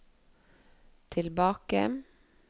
tilbake